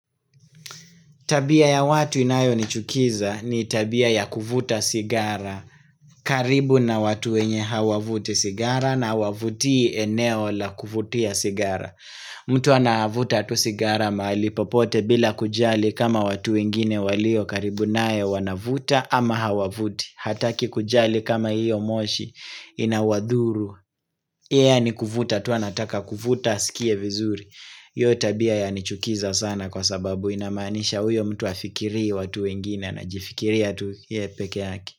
Tabia ya watu inayonichukiza ni tabia ya kuvuta sigara karibu na watu wenye hawavuti sigara na hawavutii eneo la kuvutia sigara mtu anavuta tu sigara mahali popote bila kujali kama watu wengine walio karibu naye wanavuta ama hawavuti. Hataki kujali kama hiyo moshi inawadhuru Yeye ni kuvuta tu anataka kuvuta asikie vizuri hiyo tabia yanichukiza sana kwa sababu inamanisha huyo mtu hafikirii watu wengine anajifikiria tu yeye peke yake.